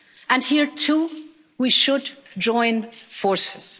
And here too we should join forces.